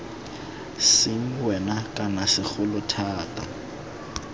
seng wena kana segolo thata